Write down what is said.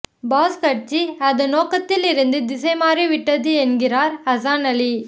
pass கட்சி அதன் நோக்கத்திலிருந்து திசை மாறி விட்டது என்கிறார் ஹசான் அலி